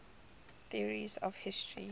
theories of history